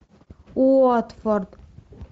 уотфорд